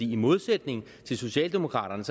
i modsætning til socialdemokraterne